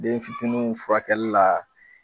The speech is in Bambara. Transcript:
Denfitinuw furakɛli la